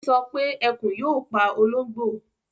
Ó sọ pé Ẹkùn yóò pa ológbò